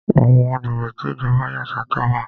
Àwọn agbègbè tí Ìjọba yà sọ̀tọ̀ wà.